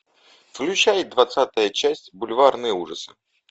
включай двадцатая часть бульварные ужасы